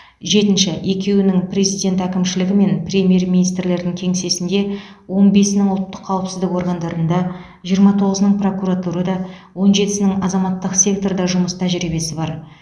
жетінші екеуінің президент әкімшілігі мен премьер министрдің кеңсесінде он бесінің ұлттық қауіпсіздік органдарында жиырма тоғызының прокуратурада он жетісінің азаматтық секторда жұмыс тәжірибесі бар